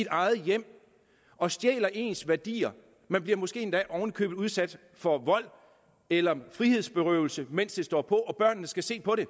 eget hjem og stjæler ens værdier man bliver måske endda oven i købet udsat for vold eller frihedsberøvelse mens det står på og børnene skal se på det